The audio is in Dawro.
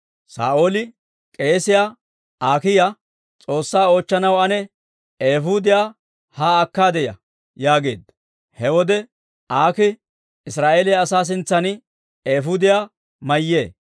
Saa'ooli k'eesiyaa Aakiya, «S'oossaa oochchanaw ane eefuudiyaa haa akkaade ya» yaageedda. He wode Aakii Israa'eeliyaa asaa sintsan eefuudiyaa mayyee.